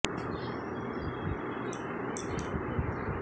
এই সমীক্ষা ধামাচাপা দিয়ে রাখার প্রতিবাদেই জাতীয় পরিসংখ্যান কমিশন থেকে পরিসংখ্যানবিদরা পদত্যাগ